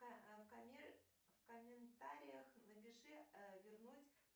в комментариях напиши вернуть